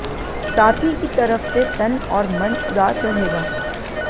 साथी की तरफ से तन और मन उदास रहेगा